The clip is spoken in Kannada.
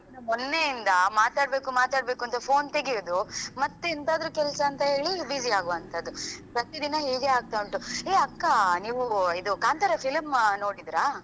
ಮೊನ್ನೆಯಿಂದ ಮಾತಾಡ್ಬೇಕು ಮಾತಾಡ್ಬೇಕು ಅಂತ phone ತೆಗಿಯುದು ಮತ್ತೆ ಎಂತಾದ್ರೂ ಕೆಲಸಂತೇಳಿ busy ಯಾಗುವಂತದು ಪ್ರತಿ ದಿನ ಹೇಗೆ ಆಗ್ತಾ ಉಂಟು ಹೇ ಅಕ್ಕ ನೀವ್ ಇದು ಕಾಂತಾರ film ನೋಡಿದ್ರಾ?